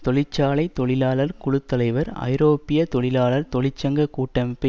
தொழிற்சாலை தொழிலாளர் குழு தலைவர் ஐரோப்பிய தொழிலாளர் தொழிற்சங்க கூட்டமைப்பை